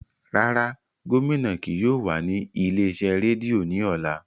Rara, gomina kii yóò wa ni ile-iṣẹ redio ni ọla.